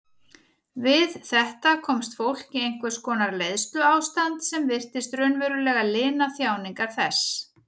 Við þetta komst fólk í einhvers konar leiðsluástand sem virtist raunverulega lina þjáningar þess.